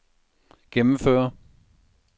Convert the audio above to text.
gennemføre